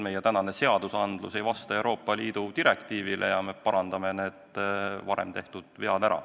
Meie praegune asjaomane seadustik ei vasta Euroopa Liidu direktiivile ja me parandame varem tehtud vead ära.